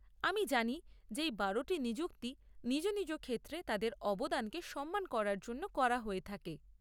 আমি জানি যে এই বারোটি নিযুক্তি নিজ নিজ ক্ষেত্রে তাদের অবদানকে সম্মান করার জন্য করা হয়ে থাকে।